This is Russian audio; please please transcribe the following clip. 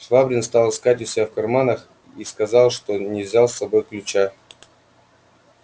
швабрин стал искать у себя в карманах и сказал что не взял с собою ключа